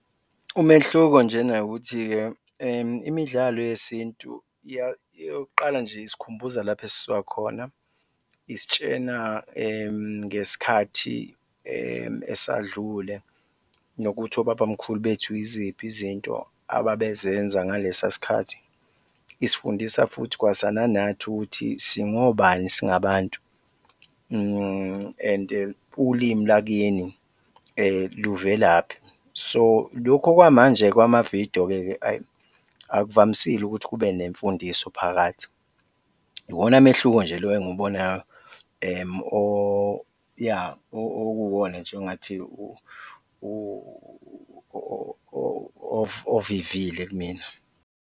Umehluko njena ukuthi-ke imidlalo yesintu eyokuqala nje isikhumbuza lapho esisuka khona, isitshena ngesikhathi esadlule nokuthi obaba mkhulu bethu yiziphi izinto ababezenza ngalesa sikhathi, isifundisa futhi kwasananathi ukuthi singobani singabantu and-e ulimi lwakini luvelaphi? So lokho kwamanje kwamavidiyo-ke ayi, akuvamisile ukuthi kube nemfundiso phakathi, iwona mehluko nje lo engiwubonayo okuuwona nje ongathi ovivile kumina.